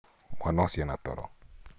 Mwana ũcio ena toro